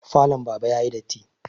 Falon baba yayi datti